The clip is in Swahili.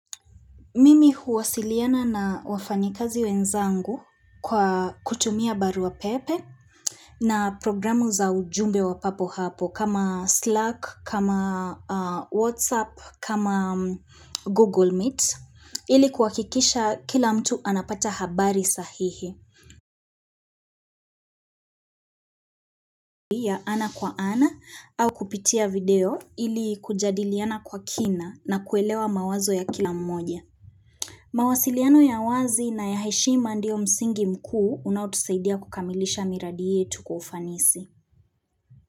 Mimi huwasiliana na wafanyikazi wenzangu kwa kutumia barua pepe na programu za ujumbe wa papo hapo kama Slack, kama WhatsApp, kama Google Meet ili kuhakikisha kila mtu anapata habari sahihi. Ya ana kwa ana au kupitia video ili kujadiliana kwa kina na kuelewa mawazo ya kila mmoja. Mawasiliano ya wazi na ya heshima ndio msingi mkuu unaotusaidia kukamilisha miradi yetu kwa ufanisi.